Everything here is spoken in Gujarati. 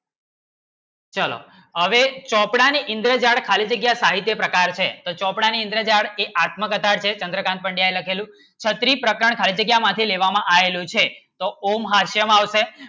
ચલો આવે ચોપડા ને ઇંતજાર ખાલી થી સાહિત્ય પ્રકાર છે ચોપડા ને ઇંતેજાર ની આત્મ કથા છે કેન્દ્રકાન્ત પંડ્યા ને લખેલું ખત્રી પ્રકાર લેવે માટે આયો છે તો ઓમભાષ્ય માં આવે છે